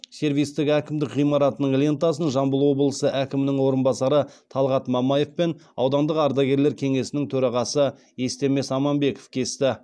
сервистік әкімдік ғимаратының лентасын жамбыл облысы әкімінің орынбасары талғат мамаев пен аудандық ардагерлер кеңесінің төрағасы естемес аманбеков кесті